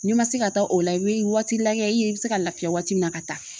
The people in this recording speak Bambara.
N'i ma se ka taa o la i bɛ waati lajɛ i ye i bɛ se ka lafiya waati min na ka taa